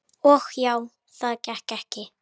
Og já, það gekk ekki.